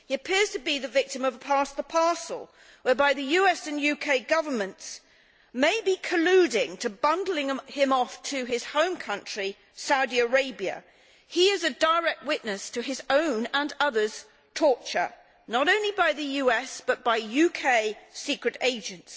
He appears to be the victim of pass the parcel, whereby the US and UK governments may be colluding to bundle him off to his home country Saudi Arabia. He is a direct witness to his own and others' torture, not only by the US but by UK secret agents.